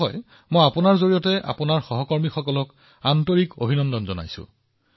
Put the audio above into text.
কিন্তু প্ৰকাশজী মই আপোনাৰ জৰিয়তে আপোনাৰ সকলো সহকৰ্মীক আন্তৰিকতাৰে ধন্যবাদ জনাইছো